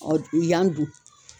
u yan dun.